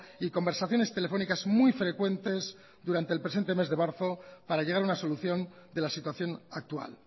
y conversaciones telefónicas muy frecuentes durante el presente mes de marzo para llegar a una solución de la situación actual